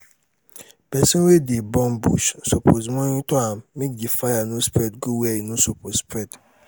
persin wey de burn bush suppose monitor am make di fire no spread go where e no suppose spread